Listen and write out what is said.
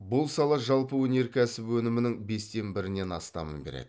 бұл сала жалпы өнеркәсіп өнімінің бестен бірінен астамын береді